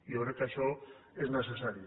jo crec que això és necessari